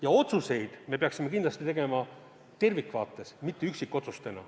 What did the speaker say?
Ja otsuseid me peaksime tegema tervikvaates, mitte üksikotsustena.